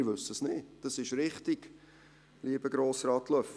Wir wissen es nicht, das ist richtig, lieber Grossrat Löffel.